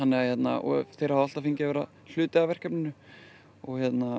og þeir hafa alltaf fengið að vera hluti af verkefninu og